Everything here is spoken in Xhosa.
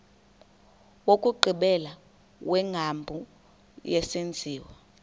wokugqibela wengcambu yesenziwa